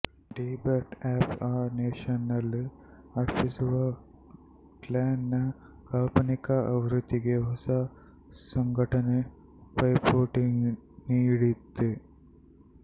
the birth of a nation ನ್ನಲ್ಲಿ ಅರ್ಪಿಸುವ clan ನ ಕಾಲ್ಪನಿಕ ಆವೃತ್ತಿಗೆ ಹೊಸ ಸಂಘಟನೆ ಪೈಪೋಟಿ ನೀಡಿತು